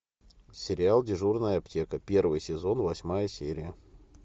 сериал дежурная аптека первый сезон восьмая серия